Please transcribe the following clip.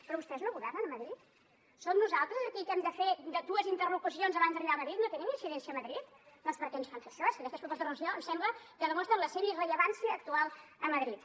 però vostès no governen a madrid som nosaltres aquí que hem de fer dues interlocucions abans d’arribar a madrid no tenen incidència a madrid doncs perquè ens fan fer això és que aquestes propostes de resolució em sembla que demostren la seva irrellevància actual a madrid